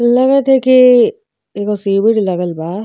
लगता की इ एगो सीबिज लगल बा।